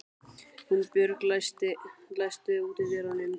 Húnbjörg, læstu útidyrunum.